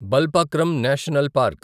Balphakram national park